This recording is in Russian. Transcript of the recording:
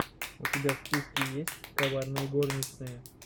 у тебя в списке есть коварные горничные